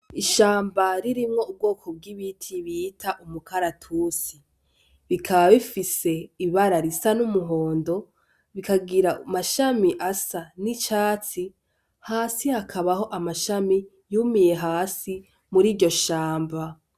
Ishamba ririmwo ubwoko bw'ibiti bita umukaratus. Bikaba bifise ibara risa n'umuhondo bikagira amashami asa n'icatsi, hasi hakabaho amashami yumiye hasi mur'iryo shamba.